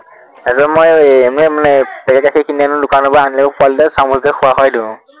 সেইদৰে মই এৰ এনেই মানে packet গাখীৰ কিনি আনো দোকনাৰ পৰা, আনিলেও পোৱালীটোৱে চামোচেৰে খোৱা হয় দেখোন।